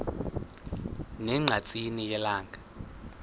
ne ngqatsini yelanga